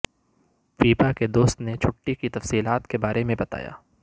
پیپا کے دوست نے چھٹی کی تفصیلات کے بارے میں بتایا